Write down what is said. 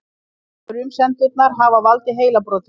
Sumar frumsendurnar hafa valdið heilabrotum.